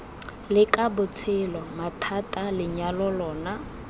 leka botshelo mathata lenyalo lona